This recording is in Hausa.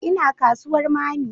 Ina kasuwar mammy